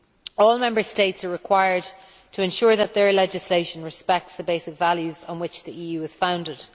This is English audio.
All Member States are required to ensure that their legislation respects the basic values on which the EU is founded.